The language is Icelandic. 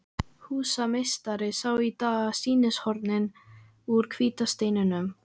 Húsameistari sá í dag sýnishornin úr hvíta steininum.